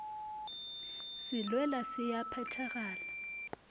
se lwela se a phethagala